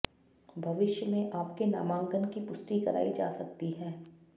भविष्य में आपके नामांकन की पुष्टि करायी जा सकती है